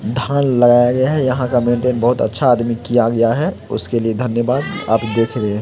धान लगाया गया है यहाँ का मेंटेन बहुत अच्छा आदमी किया गया है उसके लिए धन्यवाद आप दिख रहे है।